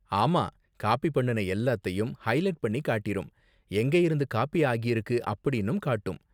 ஆமா, காப்பி பண்ணுன எல்லாத்தையும் ஹைலைட் பண்ணி காட்டிரும். எங்கயிருந்து காப்பி ஆகிருக்கு அப்படின்னும் காட்டும்.